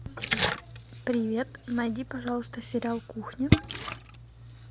привет найди пожалуйста сериал кухня